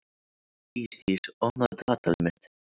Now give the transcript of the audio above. Ísdís, opnaðu dagatalið mitt.